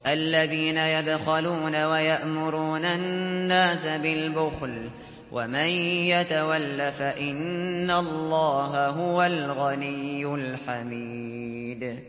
الَّذِينَ يَبْخَلُونَ وَيَأْمُرُونَ النَّاسَ بِالْبُخْلِ ۗ وَمَن يَتَوَلَّ فَإِنَّ اللَّهَ هُوَ الْغَنِيُّ الْحَمِيدُ